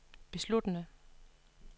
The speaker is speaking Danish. besluttede